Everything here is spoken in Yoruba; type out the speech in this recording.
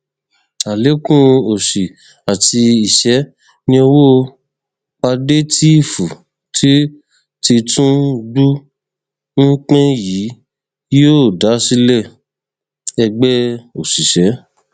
alẹkùn òsì àti ìṣẹ ni owó pàdétììfù tí tìtúngbù ń pín yìí yóò dá sílẹ ẹgbẹ òṣìṣẹ